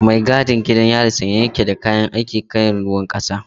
Mai gadin gidan yari sanye ya ke da kayan aiki kalar ruwan kasa.